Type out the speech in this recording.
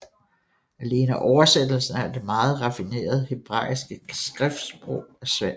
Alene oversættelsen af det meget raffinerede hebraiske skriftsprog er svært